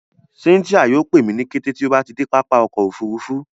Cynthia yóò pẹ mi ni kẹtẹ tí o bá de pápá ọkọ̀ òfurufú